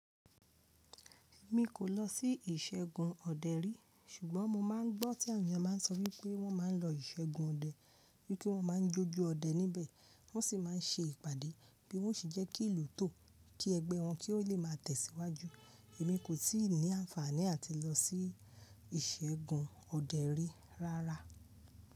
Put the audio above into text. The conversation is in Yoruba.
Èmi kò lọ sí ìṣègùn ọdẹ rí, ṣùgbọ́n mo máa ń gbọ́ tí àwọn èèyàn máa ń sọ wípé wọ́n máa ń lọ ìṣègùn ọdẹ, bí i pé wọ́n máa ń jójó ọdẹ níbẹ̀, wọ́n sì máa ń ṣe ìpàdé bí wọ́n ó ṣe jẹ́kí ìlú tò ó, kí ẹgbẹ́ wọn kí ó lè máa tẹ̀síwájú. Èmi kò tíì ní àǹfààní àti lọ sí ìṣègùn ọdẹ rí rárá.